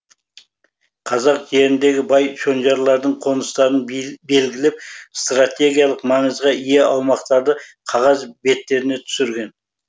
қазақ жеріндегі бай шонжарлардың қоныстарын белгілеп стратегиялық маңызға ие аумақтарды қағаз беттеріне түсірген